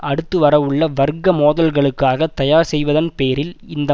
அடுத்து வரவுள்ள வர்க்க மோதல்களுக்காக தயார் செய்வதன் பேரில் இந்த